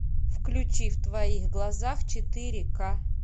включи в твоих глазах четыре ка